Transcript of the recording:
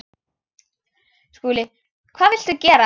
SKÚLI: Hvað viltu gera?